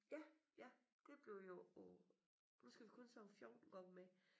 Ja ja det blev jo nu skal vi kun sove 14 gange mere